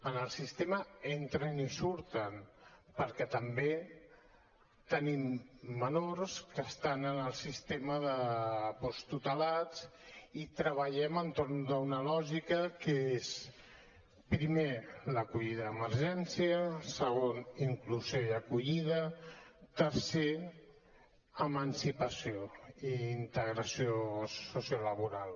en el sistema entren i surten perquè també tenim menors que estan en el sistema de posttutelats i treballem entorn d’una lògica que és primer l’acollida d’emergència segon inclusió i acollida tercer emancipació i integració sociolaboral